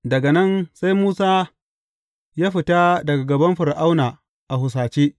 Daga nan sai Musa ya fita daga gaban Fir’auna a husace.